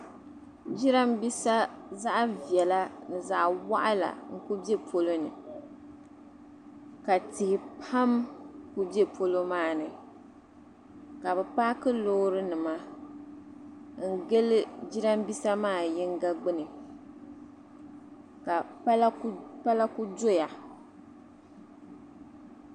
jirambisa zaɣ'viɛla ni zaɣ'wɔɣila n-ku be polo ni ka tihi pam ku be polo maa ni ka bɛ paaki loorinima n-gili jirambisa maa yiŋga gbuni ka pala ku doya